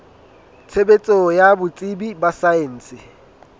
tshebetso ya botsebi ba saense